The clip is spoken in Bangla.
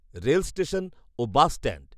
রেলষ্টেশন ও বাসষ্ট্যান্ড